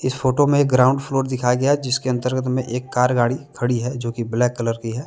Photo में एक ground floor दिखाया गया है जिसके अंतर्गत में एक कार गाड़ी खड़ी है जो कि ब्लैक कलर की है।